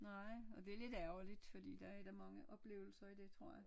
Nej og det lidt ærgerligt fordi der er da mange oplevelser i det tror jeg